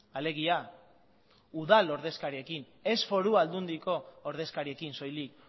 alegia udal ordezkariekin ez foru aldundiko ordezkariekin soilik